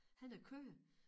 Han har køer